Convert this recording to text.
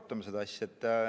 Arutame seda asja.